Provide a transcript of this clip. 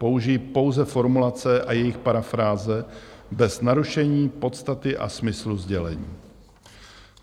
Použiji pouze formulace a jejich parafráze bez narušení podstaty a smyslu sdělení.